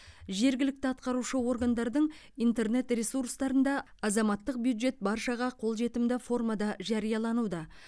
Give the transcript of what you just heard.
жергілікті атқарушы органдардың интернет ресурстарында азаматтық бюджет баршаға қолжетімді формада жариялануда